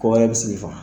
Ko wɛrɛ bɛ se k'i faga